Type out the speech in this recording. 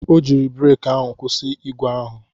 O jiiri breki ahụ kwụsị ígwè ahụ.